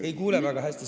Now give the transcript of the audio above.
Ei kuule väga hästi.